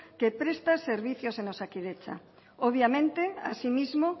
que presta servicios en osakidetza obviamente asimismo